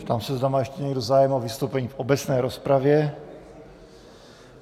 Ptám se, zda má ještě někdo zájem o vystoupení v obecné rozpravě.